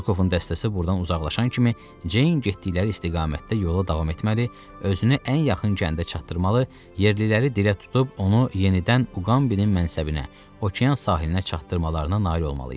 Rokovun dəstəsi burdan uzaqlaşan kimi, Ceyn getdikləri istiqamətdə yola davam etməli, özünü ən yaxın kəndə çatdırmalı, yerliləri dilə tutub onu yenidən Uqambinin mənsəbinə, Okean sahilinə çatdırmalarına nail olmalı idi.